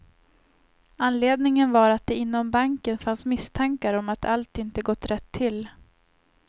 Anledningen var att det inom banken fanns misstankar om att allt inte gått rätt till.